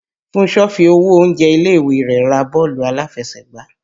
Fúnṣọ fi owó oúnjẹ ilé-ìwé rẹ̀ ra bọ́ọ̀lù aláfẹsẹ̀gbá